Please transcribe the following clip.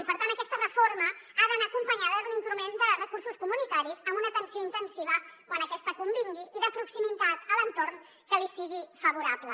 i per tant aquesta reforma ha d’anar acompanyada d’un increment de recursos comunitaris amb una atenció intensiva quan aquesta convingui i de proximitat a l’entorn que li sigui favorable